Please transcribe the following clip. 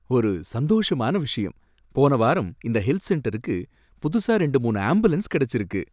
ஒரு சந்தோஷமான விஷயம்! போன வாரம் இந்த ஹெல்த் சென்டருக்கு புதுசா ரெண்டு, மூனு ஆம்புலன்ஸ் கிடைச்சிருக்கு.